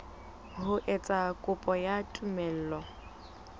ho etsa kopo ya tumello